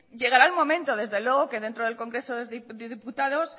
llegará el momento desde luego que dentro del congreso de los diputados